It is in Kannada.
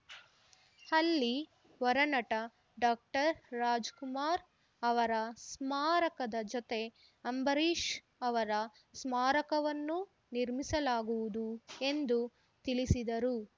ಅಲ್ಲಿ ವರನಟ ಡಾಕ್ಟರ್ ರಾಜ್‌ಕುಮಾರ್‌ ಅವರ ಸ್ಮಾರಕದ ಜೊತೆ ಅಂಬರೀಷ್‌ ಅವರ ಸ್ಮಾರಕವನ್ನೂ ನಿರ್ಮಿಸಲಾಗುವುದು ಎಂದು ತಿಳಿಸಿದರು